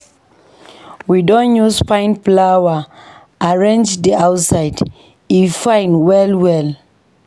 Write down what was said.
We don use fine flower arrange di outside, e fine well-well.